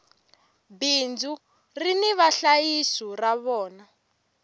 bindzu rini vahlayisi va rona